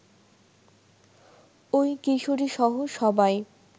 ওই কিশোরীসহ সবাই